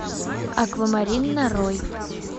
аквамарин нарой